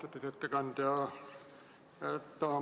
Austatud ettekandja!